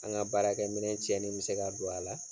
An ka baarakɛ minɛ cɛni bɛ se ka don a la.